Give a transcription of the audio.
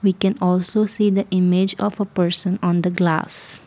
We can also see the image of a person on the glass.